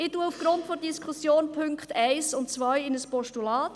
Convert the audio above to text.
Ich wandle die Punkte 1 und 2 aufgrund der Diskussion in ein Postulat.